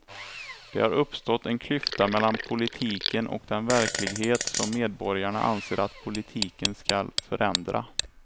Det har uppstått en klyfta mellan politiken och den verklighet som medborgarna anser att politiken ska förändra.